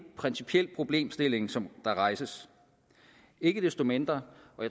principiel problemstilling som der rejses ikke desto mindre